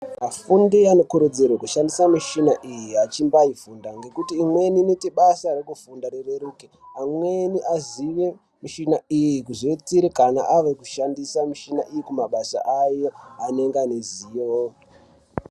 Afundi anokurudzirwe kushandisa michina iyi achimbaifunda. Ngekuti imweni inoita basa rekufunda rireruke. Amweni azive michina iyi kuzoitire kana ave kushandisa michina iyi kumabasa ayo anenge anezivo.